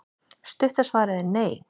Stutta svarið er nei.